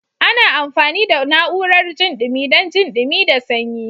Ana amfani da na'urar jin dumi dan jin dumi da sanyi.